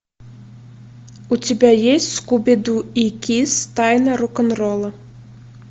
у тебя есть скуби ду и кисс тайна рок н ролла